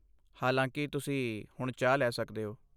ਹਾਲਾਂਕਿ, ਤੁਸੀਂ ਹੁਣ ਚਾਹ ਲੈ ਸਕਦੇ ਹੋ।